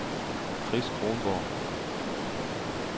Chris Kronborg